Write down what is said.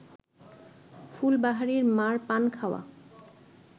ফুলবাহারির মা’র পান খাওয়া